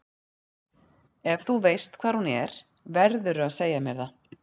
Ef þú veist hvar hún er verðurðu að segja mér það.